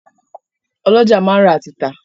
Ọ́lọjá máa ń rà àti tà